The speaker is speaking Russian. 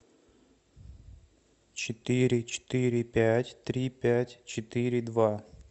четыре четыре пять три пять четыре два